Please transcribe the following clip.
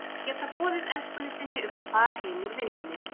Að geta boðið elskunni sinni upp á far heim úr vinnunni!